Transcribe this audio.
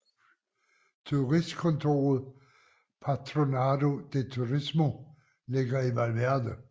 Turistkontoret Patronato de Turismo ligger i Valverde